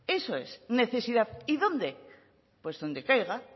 eso es necesidad y dónde pues donde caiga